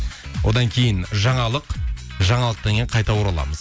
одан кейін жаңалық жаңалықтан кейін қайта ораламыз